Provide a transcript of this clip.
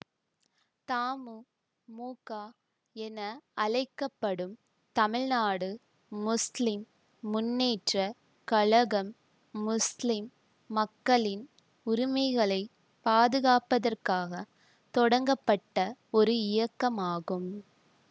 தமுமுக என அழைக்க படும் தமிழ்நாடு முஸ்லிம் முன்னேற்ற கழகம் முஸ்லிம் மக்களின் உரிமைகளை பாதுகாப்பதற்காகத் தொடங்கப்பட்ட ஒரு இயக்கமாகும்